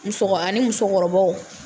Musokɔ ani musokɔrɔbaw